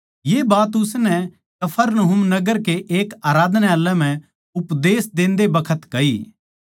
ये बात उसनै कफरनहूम नगर कै एक आराधनालय म्ह उपदेश देन्दे बखत कही